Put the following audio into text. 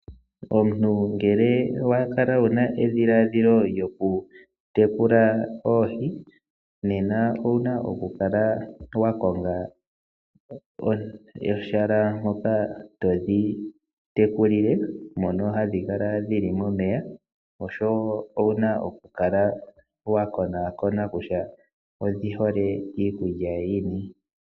Omuntu ngele wa kala wuna edhiladhilo lyoku tekula oohi nena owuna oku kala wa konga ehala mpoka todhi tekulile, mono hadhi kala dhili momeya osho wo owuna oku kala wa konakoona kutya odhi hole iikulya yini.